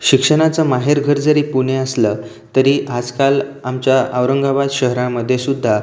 शिक्षणाच माहेर घर जरि पुणे असल तरी आजकाल आमच्या औरंगाबाद शहरा मध्ये सुद्धा--